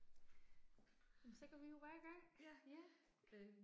Jamen så går vi jo bare i gang. Ja